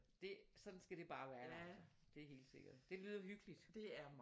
Det sådan skal det bare være altså det er helt sikkert det lyder hyggeligt